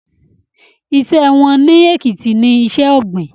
Iṣẹ́ wọn ní Èkìtì ní iṣẹ́ ọ̀gbìn